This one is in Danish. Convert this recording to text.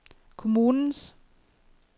kommunens